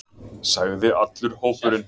sagði allur hópurinn.